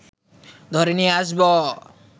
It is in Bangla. ধরে নিয়ে আসব